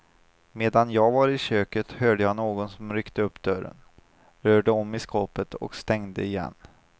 Medan jag var i köket hörde jag någon som ryckte upp dörren, rörde om i skåpet och stängde igen.